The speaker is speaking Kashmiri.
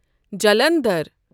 جَلنَدھر